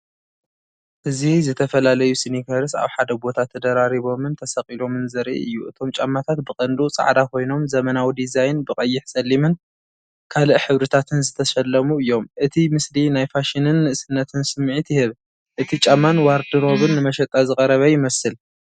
እዚ ዝተፈላለዩ ስኒከርስ ኣብ ሓደ ቦታ ተደራሪቦምን ተሰቒሎምን ዘርኢ እዩ። እቶም ጫማታት ብቐንዱ ጻዕዳ ኮይኖም ዘመናዊ ዲዛይን ብቐይሕጸሊምን ካልእ ሕብርታትን ዝተሰለሙ እዮም። እቲ ምስሊ ናይ ፋሽንን ንእስነትን ስምዒት ይህብ፣ እቲ ጫማን ዋርድሮብን ንመሸጣ ዝቐረበ ይመስል።